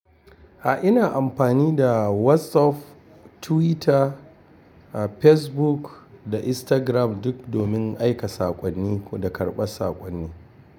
A'a, ina amfani da WhatsApp, Twitter, Facebook da Instagram duk domin aika saƙonni da karɓar saƙonni.